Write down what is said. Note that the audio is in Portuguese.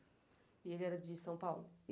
E ele era de São Paulo?